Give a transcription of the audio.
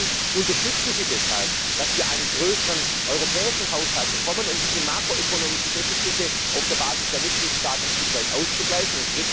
Zum Zweiten Unterstützen Sie deshalb, dass wir einen größeren europäischen Haushalt bekommen, um diese makroökonomischen Defizite auf der Basis der Mitgliedstaaten bis zu einem gewissen Grad auszugleichen?